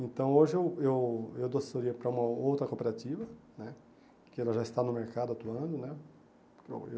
Então hoje eu eu eu dou assessoria para uma outra cooperativa né, que ela já está no mercado atuando né.